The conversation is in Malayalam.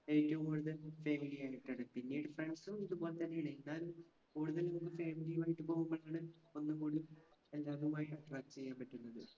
ഏറ്റവും കൂടുതൽ family ആയിട്ടാണ്. പിന്നീട് friends ഉം ഇതുപോലെതന്നെയാണ്. ഞാൻ കൂടുതൽ family യുമായിട്ട് പോകുമ്പോഴാണ് ഒന്നുകൂടി ചെയ്യാൻ പറ്റുന്നത്.